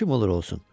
Kim olur olsun.